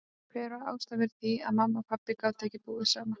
Hver var ástæðan fyrir því að mamma og pabbi gátu ekki búið saman?